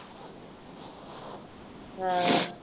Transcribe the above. ਹਾਂ